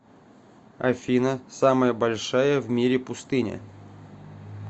афина самая большая в мире пустыня